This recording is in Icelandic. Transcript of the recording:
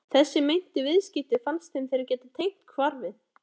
Þessi meintu viðskipti fannst þeim þeir geta tengt hvarfi